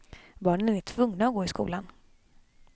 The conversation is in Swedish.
Barnen är tvungna att gå i skolan.